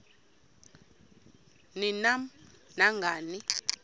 ni nam nangani